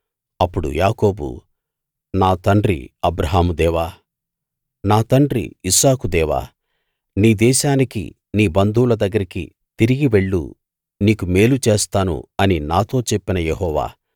అప్పుడు యాకోబు నా తండ్రి అబ్రాహాము దేవా నా తండ్రి ఇస్సాకు దేవా నీ దేశానికీ నీ బంధువుల దగ్గరికీ తిరిగి వెళ్ళు నీకు మేలు చేస్తాను అని నాతో చెప్పిన యెహోవా